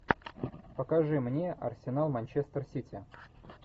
покажи мне арсенал манчестер сити